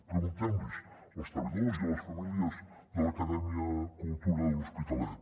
preguntem los hi als treballadors i a les famílies de l’acadèmia cultura de l’hospitalet